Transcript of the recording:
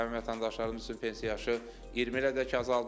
Həmin vətəndaşlarımız üçün pensiya yaşı 20 ilə qədər azaldılır.